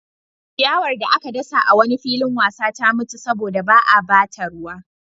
Ciyawar da aka dasa a wani filin wasa ta mutu saboda ba a ba ta ruwa.